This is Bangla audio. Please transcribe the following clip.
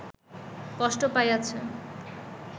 কষ্ট পাইয়াছে